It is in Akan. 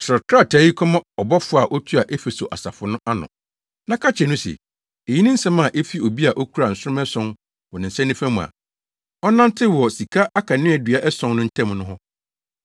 “Kyerɛw krataa yi kɔma ɔbɔfo a otua Efeso asafo no ano, na ka kyerɛ no se: Eyi ne nsɛm a efi obi a okura nsoromma ason wɔ ne nsa nifa mu a ɔnantew wɔ sika akaneadua ason no ntam no hɔ.